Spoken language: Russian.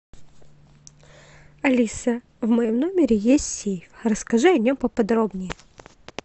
алиса в моем номере есть сейф расскажи о нем поподробнее